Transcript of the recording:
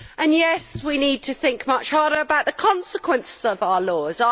Yes, we need to think much harder about the consequences of our laws.